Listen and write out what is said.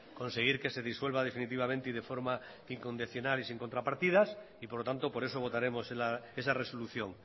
conseguir que se disuelva definitivamente y de forma incondicional y sin contrapartidas y por lo tanto por eso votaremos esa resolución